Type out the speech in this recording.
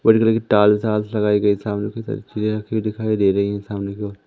भूरे कलर की ताल चालस लगाई गई है सामने कई सारी चीजें रखी दिखाई दे रही है सामने की ओर --